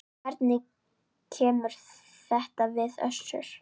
Hvernig kemur þetta við Össur?